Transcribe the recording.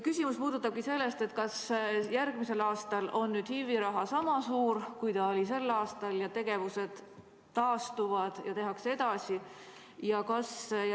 Küsimus puudutabki seda, kas järgmisel aastal on HIV‑i raha sama suur, kui oli sel aastal, tegevused taastuvad ja tehakse tööd edasi.